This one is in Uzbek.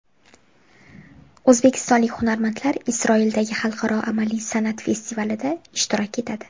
O‘zbekistonlik hunarmandlar Isroildagi xalqaro amaliy san’at festivalida ishtirok etadi.